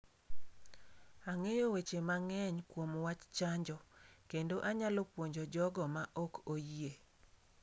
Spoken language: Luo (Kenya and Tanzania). Ang'eyo weche mang'eny kuom wach chanjo, kendo anyalo puonjo jogo ma ok oyie.